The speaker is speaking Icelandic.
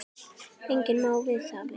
Enginn má það vita.